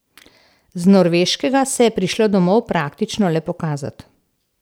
Z Norveškega se je prišla domov praktično le pokazat.